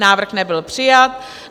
Návrh nebyl přijat.